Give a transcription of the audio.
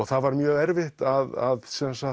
það var mjög erfitt að